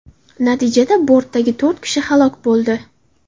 Natijada bortdagi to‘rt kishi halok bo‘ldi.